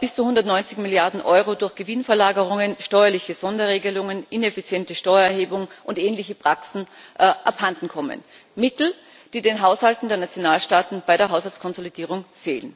bis zu 190 Milliarden Euro durch Gewinnverlagerungen, steuerliche Sonderregelungen, ineffiziente Steuererhebung und ähnliche Praktiken abhandenkommen Mittel, die den Haushalten der Nationalstaaten bei der Haushaltskonsolidierung fehlen.